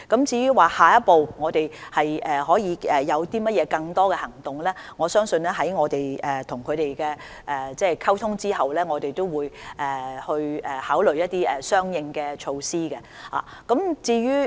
至於我們下一步會否採取更多行動，我相信在與業界溝通後，我們會考慮採取一些相應措施。